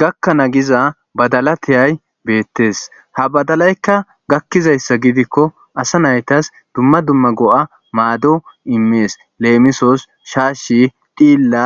gakkanaa giza badala tiyay beettes ha badalaykka gakkizayssa gidikko asa naytas dumma dumma go'a maado immees leemisos shaashi dhilla